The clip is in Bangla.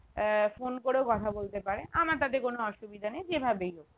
আহ phone করেও কথা বলতে পারে আমার তাতে কোনো অসুবিধা নেই যেভাবেই হোক